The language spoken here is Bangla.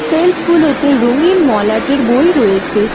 সেলফগুলোতে রঙিন মলাটের বই রয়েছে।